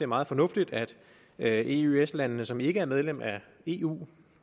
meget fornuftigt at eøs landene som ikke er medlem af eu